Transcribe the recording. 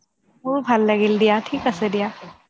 মোৰো ভাল দিয়া ঠিক আছে দিয়া